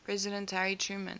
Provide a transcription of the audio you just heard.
president harry truman